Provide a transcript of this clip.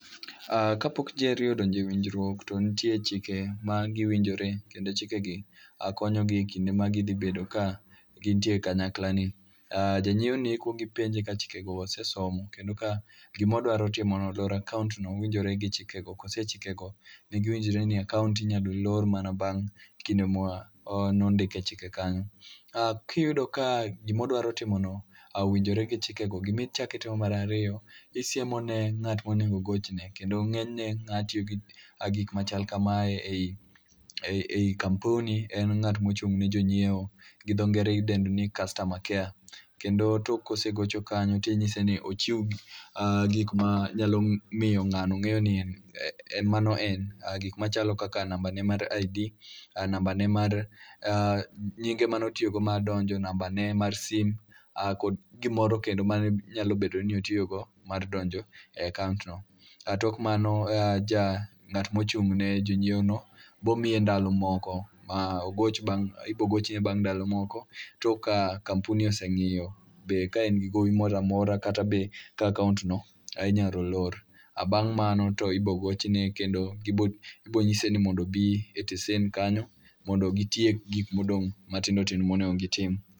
Ah kapok ji ariyop odonje winjruok to ntie chike ma giwinjore kendo chike gi konyo gi e kinde ma gidhi bedo ka gintie kanyakla ni. Ah janyiewo ni ikwongi penje ka chike gi osesomo, kendo ka gimodwaro timono loro akaont no winjore gi chikego. Kose e chikego ne giwinjore ni akaont no inyalo lor mana bang' kinde ma o ne ondike chike kanyo. Ah kiyudoka gimodwa timo no owijnore gi chikego, gimichakitimo marariyo, isiemo ne ng'at monego ogochne. Kendo ng'enyne ng'a tiyo gi gik machal kamae ei ei kampuni en ng'at mochung' ne jonyiewo. Gidho ngere idendo ni customer care. Kendo tok kosegocho kanyo ting'ise ni ochiw gik ma nyalo miyo ng'ano ng'eyo ni en mano en. Gima chalo kaka namba ne mar ID, nambane mar ah nyinge manotiyogo mar donjo. Nambane mar sim, ah kod gimoro kendo mane nyalo bedo ni otiyogo mar donjo e akaont no. Ah tok mano, ja ng'at mochung'ne jonyiewo no bomiye ndalo moko. Ma ogoch bang' ibogochne bang' ndalo moko, tok ka kampuni oseng'iyo ka en gi gowi moramora kata be ka akaont no inyalo lor. Bang' mano to ibogochne kendo ibonyise ni mondo obi e tesen kanyo mondo gitiek gik matindo tindo monego gitim.